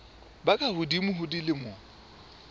ba ka hodimo ho dilemo